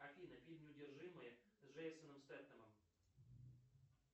афина фильм неудержимые с джейсоном стетхемом